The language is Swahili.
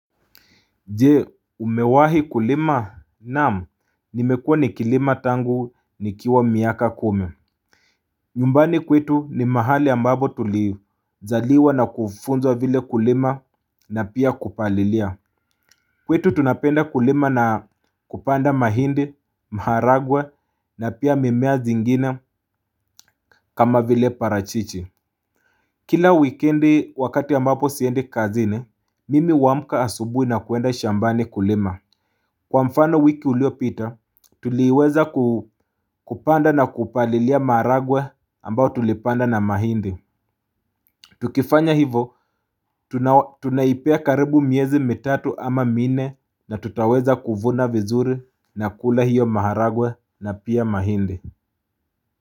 Je umewahi kulima naam nimekuwa nikilima tangu nikiwa miaka kumi. Nyumbani kwetu ni mahali ambapo tulizaliwa na kufunzwa vile kulima na pia kupalilia. Kwetu tunapenda kulima na kupanda mahindi, maharagwe na pia mimea zingine kama vile parachichi. Kila wikendi wakati ambapo siendi kazini mimi huamka asubuhi na kuenda shambani kulima. Kwa mfano wiki uliopita, tuliweza kupanda na kupalilia maharagwe ambao tulipanda na mahindi. Tukifanya hivo, tunaipea karibu miezi mitatu ama minne na tutaweza kuvuna vizuri na kula hiyo maharagwe na pia mahindi.